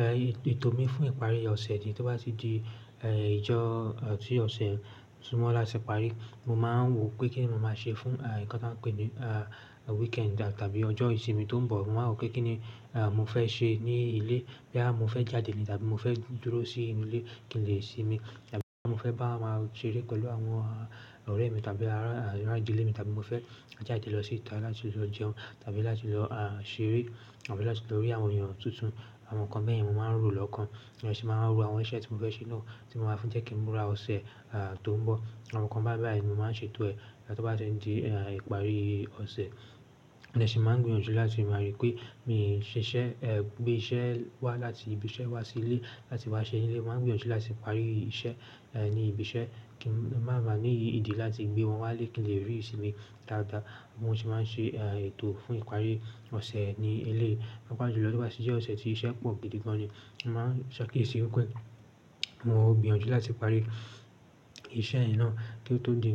Eh, ètò mi fún ìparí ọ̀sẹ̀ ni tí ó bá ti di, eh, ìjọ, eh, ti ọ̀sẹ̀ sunmọ láti parí, mo máa ń wò pé kíni mo máa ṣe fún, eh, nǹkan tí wọ́n ń pè ní, ah, weekend tàbí ọjọ́ ìsinmi tó ń bọ̀. Mo máa wò pé kíni, eh, mo fẹ́ ṣe ní ilé. Boyá mo fẹ́ jáde ni tàbí mo fẹ́ dúró sí inú ilé, kí n lè sinmi tàbí mo fẹ́ bá máa ṣeré pẹ̀lú àwọn ọ̀rẹ́ mi tàbí ará ìdílé mi tàbí mo fẹ́ jáde lọ sí ìta láti lọ jẹun tàbí láti lọ, ah, ṣeré àbí láti lọ rí àwọn èèyàn tuntun, àwọn nǹkan bẹ́yẹn mo máa ń rò lọ́kàn. Lẹ́ṣìn máa ń rò àwọn iṣẹ́ tí mo fẹ́ ṣe náà tí mo máa fi jẹ́ kí ń múra ọ̀sẹ̀, ah, tó ń bọ̀. Àwọn nǹkan bái bai ni mo máa ń ṣètò ẹ̀ to bá ti n di, ah, ìparí ọ̀sẹ̀. Mo dẹ́ ṣì máa ń gbìyànjú láti máa rí pé mi ò ṣe iṣẹ́, eh, gbé iṣẹ́ wá láti ibi iṣẹ́ wá sí ilé láti wá ṣe ní ilé. Mo máa ń gbìyànjú láti parí iṣẹ́, eh, ní ibi iṣẹ́ kí n máa bàá ní ìdí láti gbé wọn wá lẹ́kín lè rí sinmi dáadáa. Mo sì máa ń ṣe, ah, ètò fún ìparí ọ̀sẹ̀ ní ilé. Pàápàá jù lọ tí ó bá ti jẹ́ ọ̀sẹ̀ tí iṣẹ́ pọ̀ gidi gan ni, mo máa sakiyesi wipé mo ó gbìyànjú láti parí iṣẹ́ yẹn náà kí ó tó di